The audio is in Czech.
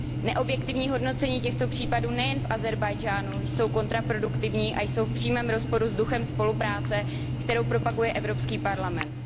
Neobjektivní hodnocení těchto případů nejen v Ázerbájdžánu jsou kontraproduktivní a jsou v přímém rozporu s duchem spolupráce, kterou propaguje Evropský parlament.